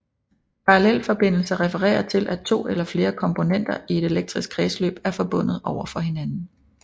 Parallelforbindelser refererer til at to eller flere kombonenter i et elektrisk kredsløb er forbundet over for hinanden